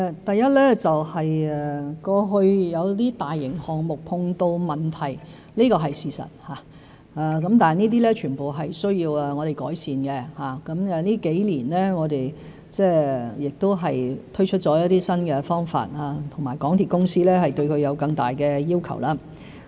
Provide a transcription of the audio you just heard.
第一，過去有一些大型項目碰到問題，這是事實，全部都需要我們改善，我們這幾年推出了很多新方法，同時提高了對港鐵公司的要求。